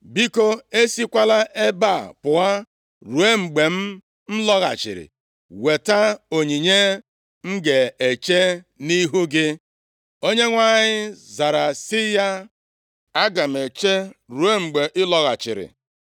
Biko esikwala ebe a pụọ ruo mgbe m lọghachiri weta onyinye m ga-eche nʼihu gị.” Onyenwe anyị zara sị ya, “Aga m eche ruo mgbe ị lọghachiri.”